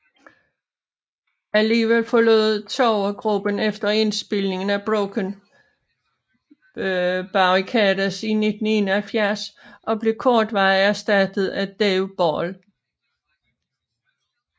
Alligevel forlod Trower gruppen efter indspilningen af Broken Barricades i 1971 og blev kortvarigt ersattet af Dave Ball